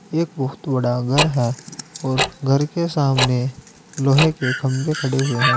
एक बहोत बड़ा घर है और घर के सामने लोहे के खंभे खड़े हुए हैं।